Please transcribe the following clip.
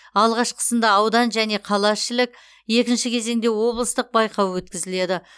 алғашқысында аудан және қалаішілік екінші кезеңде облыстық байқау өткізіледі